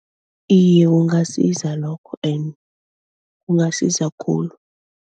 Iye kungasiza lokho and kungasiza khulu.